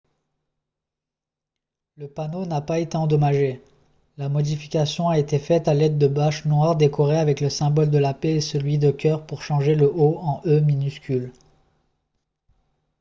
le panneau n’a pas été endommagé ; la modification a été faite à l’aide de bâches noires décorées avec le symbole de la paix et celui de cœur pour changer le « o » en « e » minuscule